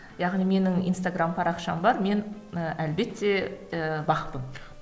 яғни менің инстаграмм парақшам бар мен і әлбетте ііі бақ пын